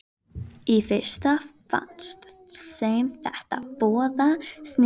Í fyrstu fannst þeim þetta voða sniðugt.